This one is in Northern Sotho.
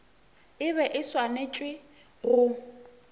e be e swanetše go